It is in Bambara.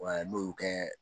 m'o kɛ